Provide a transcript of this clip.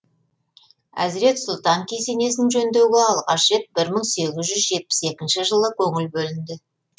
әзірет сұлтан кесенесін жөндеуге алғаш рет бір мың сегіз жүз жетпіс екінші жылы көңіл бөлінді